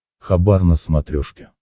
хабар на смотрешке